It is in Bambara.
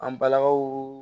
An balakaw